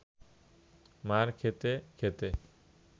মার খেতে খেতে